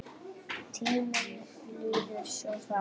Tíminn líður svo hratt.